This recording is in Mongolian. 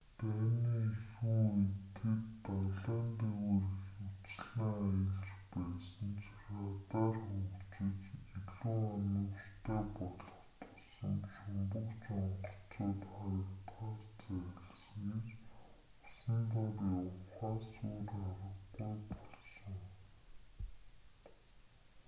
дайны эхэн үед тэд далайн дээгүүр ихэвчлэн аялж байсан ч радар хөгжиж илүү оновчтой болох тусам шумбагч онгоцууд харагдахаас зайлсхийж усан дор явахаас өөр аргагүй болсон